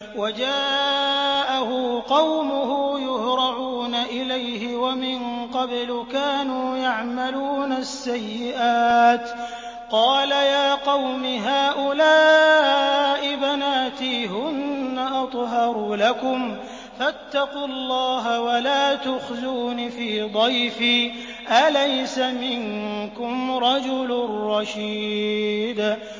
وَجَاءَهُ قَوْمُهُ يُهْرَعُونَ إِلَيْهِ وَمِن قَبْلُ كَانُوا يَعْمَلُونَ السَّيِّئَاتِ ۚ قَالَ يَا قَوْمِ هَٰؤُلَاءِ بَنَاتِي هُنَّ أَطْهَرُ لَكُمْ ۖ فَاتَّقُوا اللَّهَ وَلَا تُخْزُونِ فِي ضَيْفِي ۖ أَلَيْسَ مِنكُمْ رَجُلٌ رَّشِيدٌ